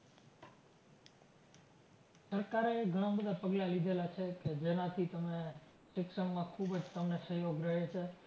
સરકારે ઘણાં બધાં પગલાં લીધેલા છે કે જેનાથી તમે શિક્ષણમાં ખૂબ જ તમને સહયોગ રહે છે.